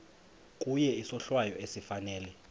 kuye isohlwayo esifanele